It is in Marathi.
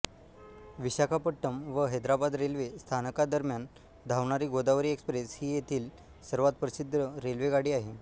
विशाखापट्टणम व हैदराबाद रेल्वे स्थानकांदरम्यान धावणारी गोदावरी एक्सप्रेस ही येथील सर्वात प्रसिद्ध रेल्वेगाडी आहे